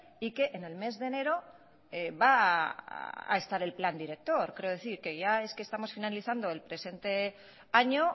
y que en el mes de enero va a estar el plan director quiero decir que ya es que estamos finalizando el presente año